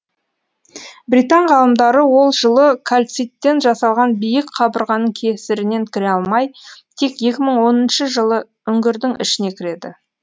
британ ғалымдары ол жылы кальциттен жасалған биік қабырғаның кесірінен кіре алмай тек екі мың оныншы жылы үңгірдің ішіне кіреді